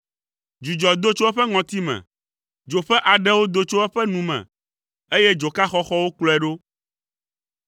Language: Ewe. Dzudzɔ do tso eƒe ŋɔtime; dzo ƒe aɖewo do tso eƒe nu me eye dzoka xɔxɔwo kplɔe ɖo.